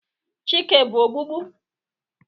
Chike bu ogbugbu?